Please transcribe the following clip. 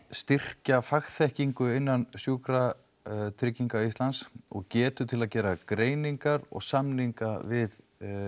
styrkja fagþekkingu innan Sjúkratrygginga Íslands og getu til að gera greiningar og samninga við